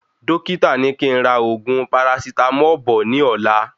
Dókítà ní kí n rà oògùn parasitámọ̀ bọ̀ ní ọ̀la